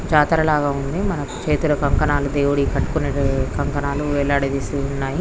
జాతర లాగ ఉంది. మనకి చేతులకి కంకణాలు దేవుడియ్ కట్టుకునేటియి కంకణాలు వేలాడదీసి ఉన్నాయ్.